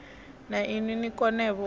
na inwi ni konevho u